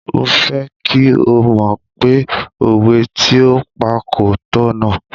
Mo fẹ́ kí o mọ̀ pé òwe tí o pa kò tọ̀nà.